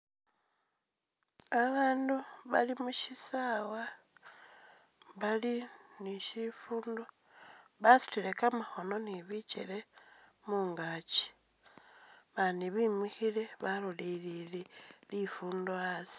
Abaandu bali musisaawa bali ne shifundo basutile kamakhoono ne bikeele mungaaki abandi bemikhiile balolelele lifundo asi.